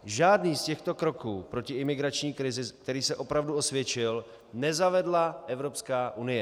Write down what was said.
Žádný z těchto kroků proti imigrační krizi, který se opravdu osvědčil, nezavedla Evropská unie.